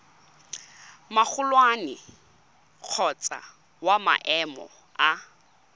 magolwane kgotsa wa maemo a